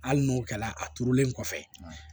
Hali n'o kɛra a turulen kɔfɛ